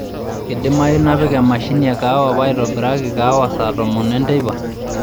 kidimayu nipik emashini ee kahawa paitobiraki kahawa saa tomon enteipa